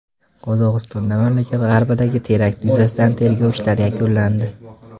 Qozog‘istonda mamlakat g‘arbidagi terakt yuzasidan tergov ishlari yakunlandi.